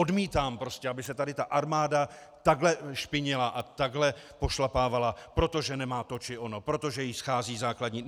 Odmítám prostě, aby se tady ta armáda takhle špinila a takhle pošlapávala, protože nemá to či ono, protože jí schází základní...